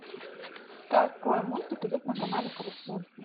какой мультик идет на канале карусель